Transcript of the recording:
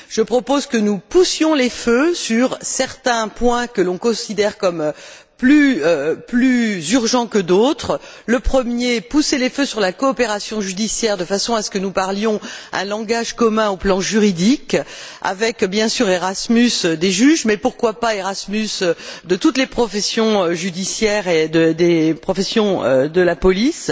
Je propose que nous poussions les feux sur certains points que l'on considère comme plus urgents que d'autres d'abord sur la coopération judiciaire de façon à ce que nous parlions un langage commun sur le plan juridique avec, bien sûr, un Erasmus des juges, mais pourquoi pas un Erasmus de toutes les professions judiciaires et un autre des professions de la police!